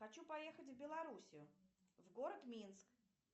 хочу поехать в белоруссию в город минск